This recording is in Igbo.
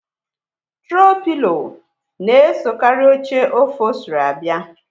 Trow pilo na-esokarị oche ọpholstri abia